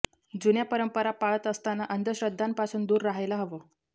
जुन्या परंपरा पाळत असताना अंधश्रद्धांपासून दूर राहायला हवं